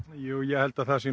ég held að það sé